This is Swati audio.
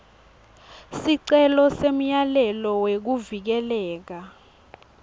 sicelo semyalelo wekuvikeleka